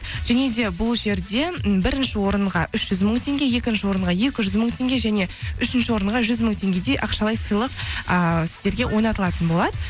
және де бұл жерде м бірінші орынға үш жүз мың теңге екінші орынға екі жүз мың теңге және үшінші орынға жүз мың теңгедей ақшалай сыйлық ааа сіздерге ойнатылатын болады